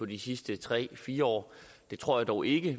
de sidste fire år det tror jeg dog ikke